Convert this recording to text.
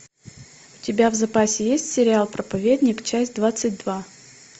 у тебя в запасе есть сериал проповедник часть двадцать два